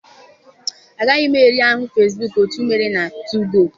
Agaghị m eri ahụ Fesbuk otu m mere na 2go.